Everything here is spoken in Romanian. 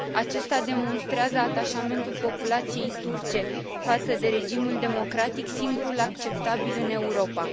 Acesta demonstrează atașamentul populației turce față de regimul democratic, singurul acceptabil în Europa.